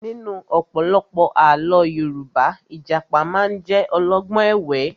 Nínú ọ̀pọ̀lọpọ̀ àlọ́ Yorùbá, Ìjàpá máa ń jẹ́ olọ́gbọ́n ẹ̀wẹ́